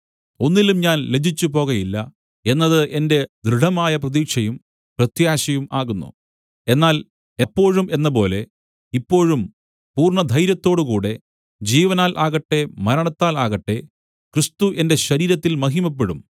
ഒന്നിലും ഞാൻ ലജ്ജിച്ചുപോകയില്ല എന്നത് എന്റെ ദൃഢമായ പ്രതീക്ഷയും പ്രത്യാശയും ആകുന്നു എന്നാൽ എപ്പോഴും എന്നപോലെ ഇപ്പോഴും പൂർണ്ണ ധൈര്യത്തോടുകൂടെ ജീവനാൽ ആകട്ടെ മരണത്താൽ ആകട്ടെ ക്രിസ്തു എന്റെ ശരീരത്തിൽ മഹിമപ്പെടും